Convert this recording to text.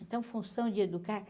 Então, função de educar.